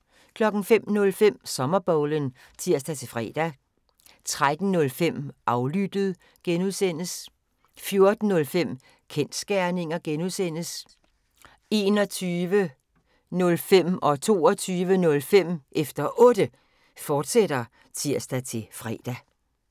05:05: Sommerbowlen (tir-fre) 13:05: Aflyttet (G) 14:05: Kensgerninger (G) 21:05: Efter Otte, fortsat (tir-fre) 22:05: Efter Otte, fortsat (tir-fre)